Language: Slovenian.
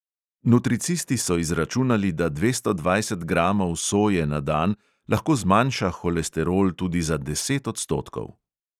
Nutricisti so izračunali, da dvesto dvajset gramov soje na dan lahko zmanjša holesterol tudi za deset odstotkov.